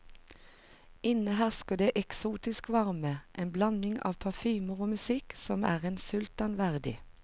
Inne hersker det eksotisk varme, en blanding av parfymer og musikk som er en sultan verdig.